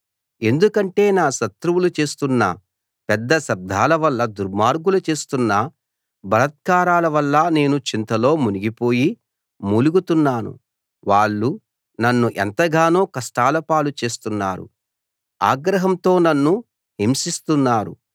ఎందుకంటే నా శత్రువులు చేస్తున్న పెద్ద శబ్దాల వల్ల దుర్మార్గులు చేస్తున్న బలాత్కారాల వల్ల నేను చింతలో మునిగిపోయి మూలుగుతున్నాను వాళ్ళు నన్ను ఎంతగానో కష్టాలపాలు చేస్తున్నారు ఆగ్రహంతో నన్ను హింసిస్తున్నారు